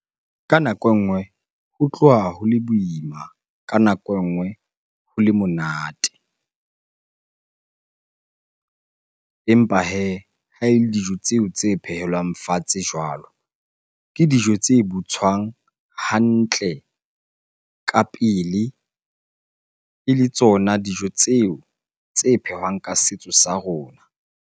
Ka nako e nngwe ho tloha ho le boima, ka nako engwe ho le monate. Empa hee ha ele dijo tseo tse phehelwang fatshe jwalo, ke dijo tse butswang hantle ka pele. Ele tsona dijo tseo tse phehwang ka setso sa rona.